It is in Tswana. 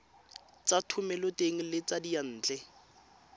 tsa thomeloteng le tsa diyantle